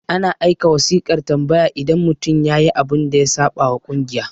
ana aika wasiƙan tambaya idan mutum yayi abun da ya saɓa wa kungiya